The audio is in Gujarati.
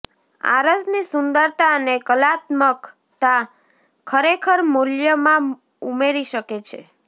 આરસની સુંદરતા અને કલાત્મકતા ખરેખર મૂલ્યમાં ઉમેરી શકે છે